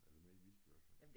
Eller mere mildt i hvert fald